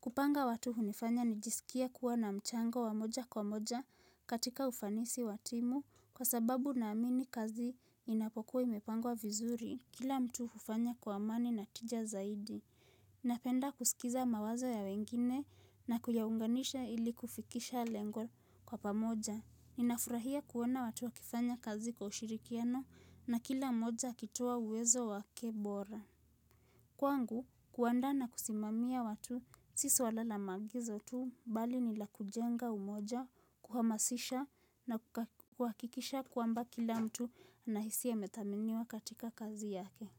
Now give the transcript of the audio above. Kupanga watu hunifanya nijiskie kuwa na mchango wa moja kwa moja katika ufanisi wa timu kwa sababu naamini kazi inapokuwa imepangwa vizuri. Kila mtu hufanya kwa amani na tija zaidi. Napenda kusikiza mawazo ya wengine na kuyaunganisha ili kufikisha lengo kwa pamoja. Ninafurahia kuona watu wakifanya kazi kwa ushirikiano na kila moja akitoa uwezo wake bora. Kwangu, kuandaa na kusimamia watu, si suala la maagizo tu, bali ni la kujenga umoja, kuhamasisha na kuhakikisha kwamba kila mtu anahisi amedhaminiwa katika kazi yake.